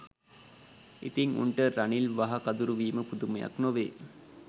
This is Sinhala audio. ඉතින් උන්ට රනිල් වහ කදුරු වීම පුදුමයක් නොවේ